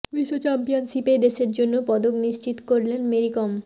বিশ্ব চ্যাম্পিয়নশিপে দেশের জন্য পদক নিশ্চিত করলেন মেরি কম